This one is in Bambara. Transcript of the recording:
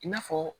I n'a fɔ